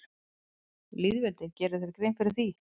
Lýðveldið, gerirðu þér grein fyrir því?